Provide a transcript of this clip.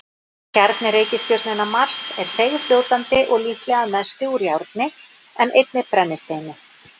Kjarni reikistjörnunnar Mars er seigfljótandi og líklega að mestu úr járni en einnig brennisteini.